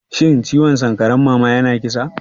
Shin ciwon sankarar mama yana kisa?